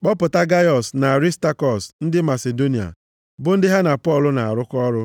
kpọpụta Gaiọs na Arịstakọs ndị Masidonia, bụ ndị ha na Pọl na-arụkọ ọrụ.